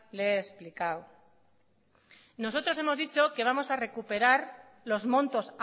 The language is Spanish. le he explicado nosotros hemos dicho que vamos a recuperar los montos